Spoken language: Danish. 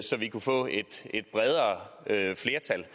så vi kunne få et bredere flertal